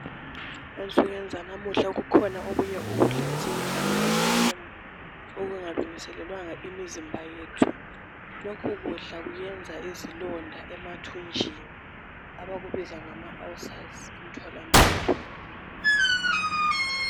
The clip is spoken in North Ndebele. Ensukwini zalamuhla kukhona okunye ukudla esikudlayo ema femu okungalungiselelwanga imizimba yethu lokhu ukudla kwenza izilonda emathunjini abazibuza ngokuthi ngama ulcers emtholampilo.